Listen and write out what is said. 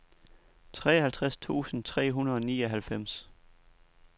treoghalvtreds tusind tre hundrede og nioghalvfems